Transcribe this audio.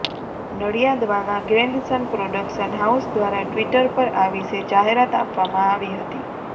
Nadiadwala Grandson production house દ્વારા Twitter પર આ વિશે જાહેરાત આપવામાં આવી હતી